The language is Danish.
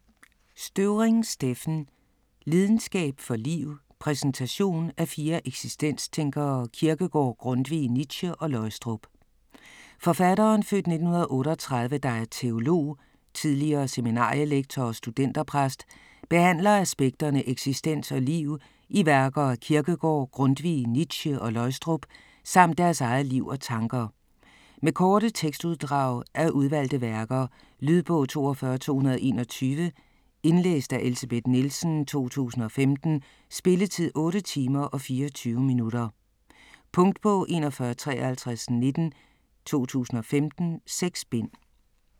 Støvring, Steffen: Lidenskab for liv: præsentation af fire eksistenstænkere - Kierkegaard, Grundtvig, Nietzsche, Løgstrup Forfatteren (f. 1938) der er teolog, tidligere seminarielektor og studenterpræst, behandler aspekterne eksistens og liv i værker af Kierkegaard, Grundtvig, Nietzsche og Løgstrup, samt deres eget liv og tanker. Med korte tekstuddrag af udvalgte værker. Lydbog 42221 Indlæst af Elsebeth Nielsen, 2015. Spilletid: 8 timer, 24 minutter. Punktbog 415319 2015. 6 bind.